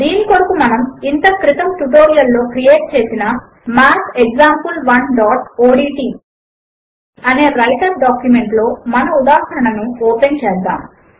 దీని కొరకు మనము ఇంతక్రితము ట్యుటోరియల్ లో క్రియేట్ చేసిన mathexample1ఓడ్ట్ అనే వ్రైటర్ డాక్యుమెంట్ లో మన ఉదాహరణను ఓపెన్ చేద్దాము